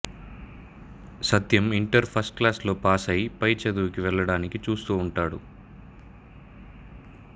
సత్యం inter ఫస్టుక్లాసులో ప్యాసై పై చదువుకి వెళ్ళడానికి చూస్తూ ఉంటాడు